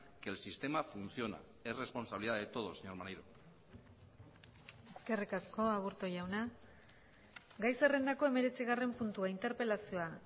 que el sistema funciona es responsabilidad de todos señor maneiro eskerrik asko aburto jauna gai zerrendako hemeretzigarren puntua interpelazioa